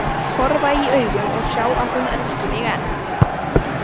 Horfa í augun og sjá að hún elski mig enn.